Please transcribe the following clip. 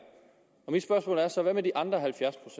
mit spørgsmål er så hvad med de andre halvfjerds